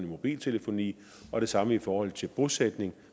mobiltelefoni og det samme i forhold til bosætning